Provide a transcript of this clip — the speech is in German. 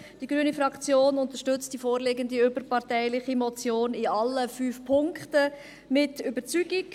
Die grüne Fraktion unterstützt die vorliegende überparteiliche Motion in allen fünf Punkten mit Überzeugung.